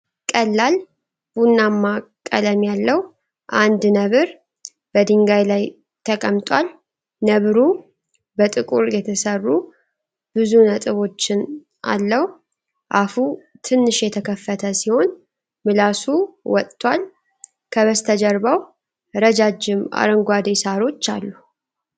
ቀላል ቡናማ ቀለም ያለው አንድ ነብር በድንጋይ ላይ ተቀምጧል፡፡ ነብሩ በጥቁር የተሰሩ ብዙ ነጥቦችን አለው፡፡ አፉ ትንሽ የተከፈተ ሲሆን ምላሱ ወጥቷል፡፡ ከበስተጀርባው ረጃጅም አረንጓዴ ሣሮች አሉ፡፡